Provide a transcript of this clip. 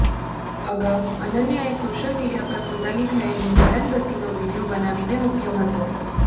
અગાઉ અનન્યાએ social media પર પોતાની થયેલી હેરાનગતિનો વીડિયો બનાવીને મૂકયો હતો